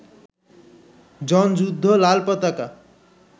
জনযুদ্ধ, লালপতাকা